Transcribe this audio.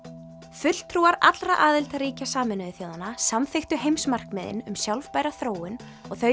fulltrúar allra aðildarríkja Sameinuðu þjóðanna samþykktu heimsmarkmiðin um sjálfbæra þróun og þau